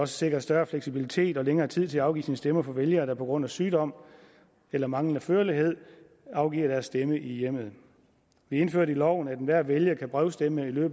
sikret større fleksibilitet og længere tid til at afgive sin stemme for vælgere der på grund af sygdom eller manglende førlighed afgiver deres stemme i hjemmet vi indførte i loven at enhver vælger kan brevstemme